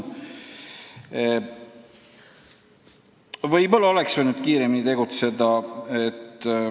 Võib-olla oleks võinud kiiremini tegutseda.